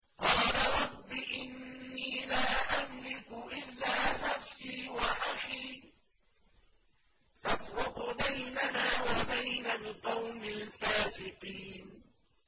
قَالَ رَبِّ إِنِّي لَا أَمْلِكُ إِلَّا نَفْسِي وَأَخِي ۖ فَافْرُقْ بَيْنَنَا وَبَيْنَ الْقَوْمِ الْفَاسِقِينَ